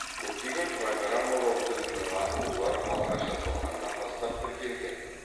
көптеген программалау тілінің аты олар алғаш жасалғаннан бастап тіркелген